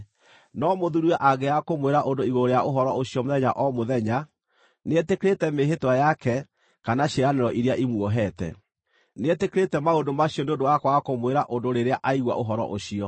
No mũthuuriwe angĩaga kũmwĩra ũndũ igũrũ rĩa ũhoro ũcio mũthenya o mũthenya, nĩetĩkĩrĩte mĩĩhĩtwa yake kana ciĩranĩro iria imuohete. Nĩetĩkĩrĩte maũndũ macio nĩ ũndũ wa kwaga kũmwĩra ũndũ rĩrĩa aigua ũhoro ũcio.